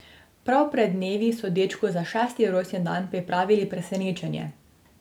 Prav pred dnevi so dečku za šesti rojstni dan pripravili presenečenje.